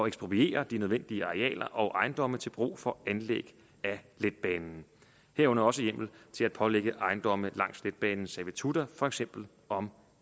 ekspropriere de nødvendige arealer og ejendomme til brug for anlæg af letbanen herunder også hjemmel til at pålægge ejendomme langs letbanen servitutter for eksempel om